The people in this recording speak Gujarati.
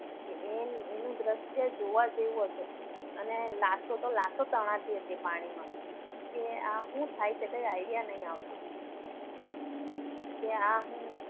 અને એનું દ્રશ્ય જોવા જેવું હશે. અને લાશો તો લાશો તણાતી હતી પાણીમાં ક્યાં હું થાય છે? કે idea નથી આવતો. કે આ હું